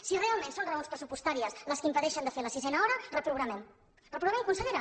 si realment són raons pressupostàries les que impedeixen fer la sisena hora reprogramem reprogramem consellera